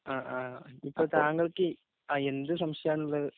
ഇപ്പൊ താങ്കള്‍ക്ക് എന്ത് സംശയമാണുള്ളത്.